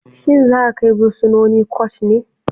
Shin zaa kai bursinoni court ne?